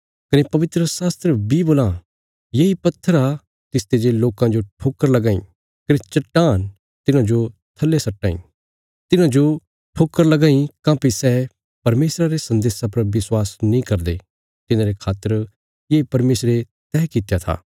कने पवित्रशास्त्र बी बोलां येई पत्थर आ तिसते जे लोकां जो ठोकर लगां इ कने चट्टान तिन्हांजो थल्ले सट्टां इ तिन्हांजो ठोकर लगां इ काँह्भई सै परमेशरा रे सन्देशा पर विश्वास नीं करदे तिन्हांरे खातर ये परमेशरे तैह कित्या था